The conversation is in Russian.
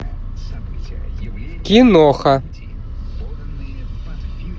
киноха